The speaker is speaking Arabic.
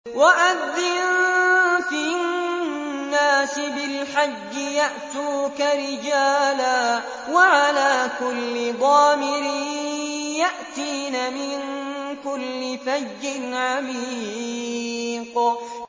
وَأَذِّن فِي النَّاسِ بِالْحَجِّ يَأْتُوكَ رِجَالًا وَعَلَىٰ كُلِّ ضَامِرٍ يَأْتِينَ مِن كُلِّ فَجٍّ عَمِيقٍ